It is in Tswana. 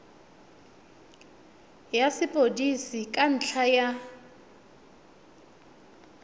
ya sepodisi ka ntlha ya